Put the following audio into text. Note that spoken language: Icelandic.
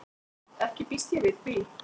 Ekki býst ég við því.